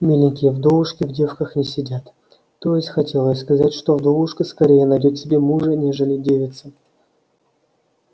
миленькие вдовушки в девках не сидят то есть хотел я сказать что вдовушка скорее найдёт себе мужа нежели девица